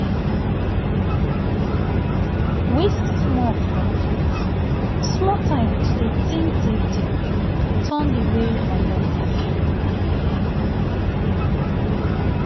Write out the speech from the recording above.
wait small– for truth small time to dey think deep deep turn di wey my body dey feel.